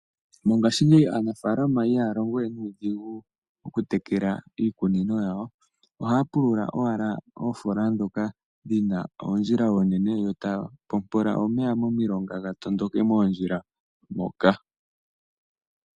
Mongashingeyi aanafaalama ihaya longo we nuudhigu okutekela iikunino yawo. Ohaya pulula owala oofola dhoka dhina oondjila oonene yo taya pompola omeya momilonga ga tondoke moondjila moka.